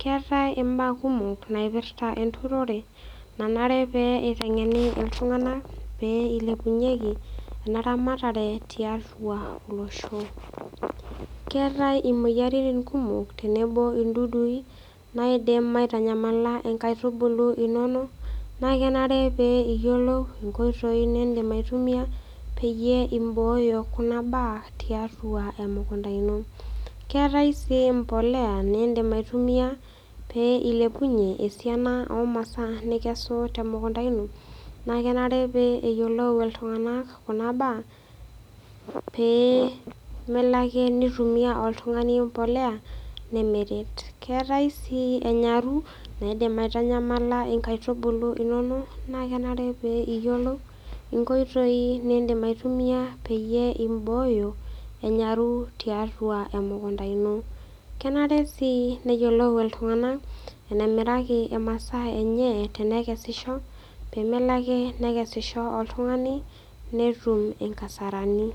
Keetai imbaa kumok naipirta enturore nanare pee eiteng'eni iltung'anak pee eilepunyeki ena ramatare tiatua olosho. Keetai imoyaritin kumok tenebo indudui naaidim aitanyamala inkaitubulu inono naakenare pee iyiolou inkoitoi nindim aitumia peyie imbooyo kuna baa tiatua emukunta ino. Keetai sii impolea nindim aitumia pee esiana omasaa nikesu temukunta ino nakenare pee eyiolou iltung'anak kuna baa pee melo ake neitumia oltung'ani empolea nemeret. Keetai sii enyaru naidim aitanyamala inkaitubulu inono naakenare pee iyiolou inkoitoi nindim aitumia peyie imbooyo enyaru tiatua emukunta ino. Kenare sii neyiolou iltung'anak enemiraki imasaa enye tenekesisho peemelo ake nekesisho oltung'ani netum inkasarani.